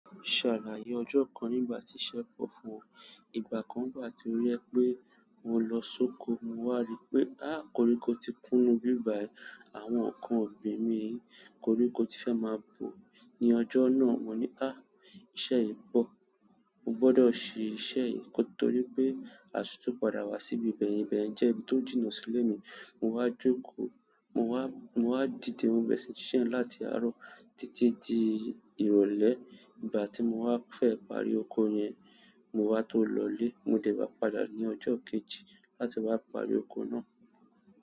Ṣàlàyé ọjọ́ kan nígbà tí iṣẹ́ pọ̀ fún ọ? Ìgbà kan wà to jẹ pé mo lọ sóko, mo wá rí pé, há koríko ti kúnú ibí bai, àwọn nkan ògbín mi koríko ti fẹ́ máa bò ní ọjọ́ náà. Mo ní há! Iṣẹ́ yi po, mo gbodo se iṣẹ́ yi nítorí pe àti tun padà wa si ibi beyen, ibeyen jina si ile mi mo wá jókòó, mo wá, mo wá dìde mo bere sí sise yen láti àárọ̀ títí di ìrọ̀lẹ́. Ìgbà tí mo wá fẹ́ parí oko yẹn, mo wá to lọlé, mo dẹ̀ wá padà ní ọjọ́ kejì láti wá parí oko náà.